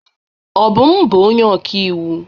Obum bụ onye ọkaiwu.